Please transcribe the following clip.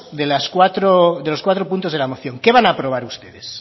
de los cuatro puntos de la moción qué van a aprobar ustedes